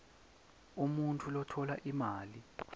umuntfu lotfola imali